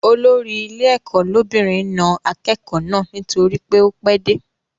Olórí ilé ẹ̀kọ́ lóbìnrin na akẹ́kọ̀ọ́ náà nítorí ó pẹ́ dé